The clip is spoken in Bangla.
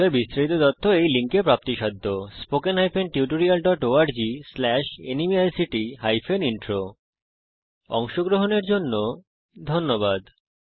এই বিষয়ে বিস্তারিত তথ্য এই লিঙ্কে প্রাপ্তিসাধ্য spoken hyphen tutorial dot org slash nmeict hyphen intro অংশগ্রহনের জন্য ধন্যবাদ